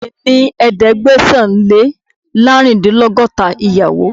Bàbáà mi ní ẹ̀ẹ́dẹ́gbẹ̀sán-Lé-láàrúndínlọ́gọ́ta ìyàwó.